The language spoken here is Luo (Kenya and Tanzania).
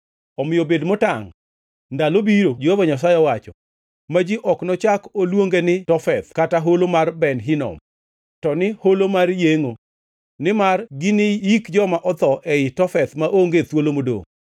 Omiyo bed motangʼ, ndalo biro, Jehova Nyasaye owacho, ma ji ok nochak oluonge ni Tofeth kata Holo mar Ben Hinom, to ni Holo mar Yengʼo, nimar giniyik joma otho ei Tofeth maonge thuolo modongʼ.